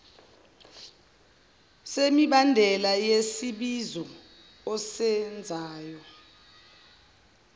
semibandela yesibizo osenzayo